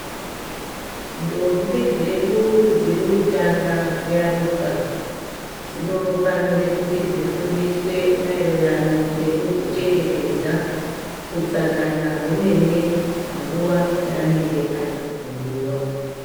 Ndombi dzedu dziri kutanga kuyaruka dzinofanira kuzi dzifundiswe maererano ngekuzvichengetedza utsanana hwemene panguwa yaanenge ari guruwa.